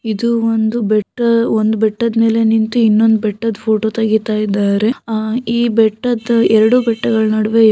ಇದು ಒಂದು ಒಂದ್ ಬೆಟ್ಟ. ಒಂದ್ ಬೆಟ್ಟದ್ ಮೇಲೆ ನಿಂತ್ತು ಇನ್ನೊಂದ್ ಬೆಟ್ಟದ್ ಫೋಟೋ ತೆಗಿತಾಇದ್ದಾರೆ. ಅಹ್ ಈ ಬೆಟ್ಟದ್ ಎರಡು ಬೆಟ್ಟಗಳ ನಡುವೆಯು